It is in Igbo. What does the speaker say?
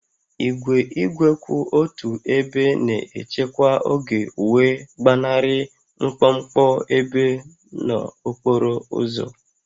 Igwe igwe kwụ otu ebe na-echekwa oge wee gbanarị mkpọmkpọ ebe n'okporo ụzọ